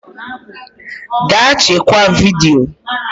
Gaa chekwaa vidiyo